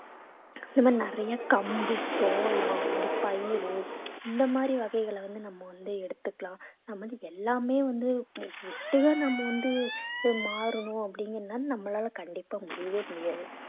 இந்த மாதிரி நிறைய கம்பு சோளம் இந்த மாரி பயிர் இந்த மாதிரி வகைகளை வந்து நம்ம வந்து எடுத்துக்கலாம் நம்ம வந்து எல்லாமே வந்து ஒட்டுக்கா நம்ம வந்து அஹ் மாறணும் அப்படிங்கிறது நம்மளால கண்டிப்பா முடியவே முடியாது